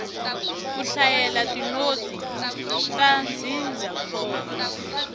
ku hlayela tinotsi ta ndzindzakhombo